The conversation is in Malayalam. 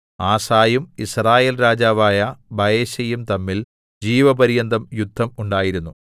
ആസയും യിസ്രായേൽ രാജാവായ ബയെശയും തമ്മിൽ ജീവപര്യന്തം യുദ്ധം ഉണ്ടായിരുന്നു